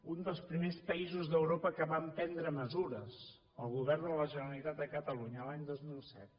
un dels primers països d’europa que vam prendre mesures el govern de la generalitat de catalunya l’any dos mil set